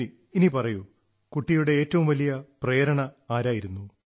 ശരി ഇനി പറയൂ കുട്ടിയുടെ ഏറ്റവും വലിയ പ്രേരണ ആരായിരുന്നു